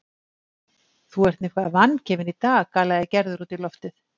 Þú ert nú eitthvað vangefinn í dag galaði Gerður út í loftið.